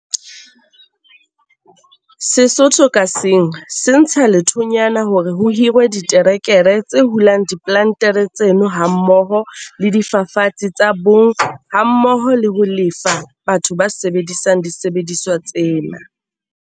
Setho ka seng se ntsha lethonyana hore ho hirwe diterekere tse hulang diplantere tseno hammoho le difafatsi tsa boom hammoho le ho lefa batho ba sebedisang disebediswa tsena.